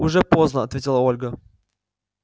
уже поздно ответила ольга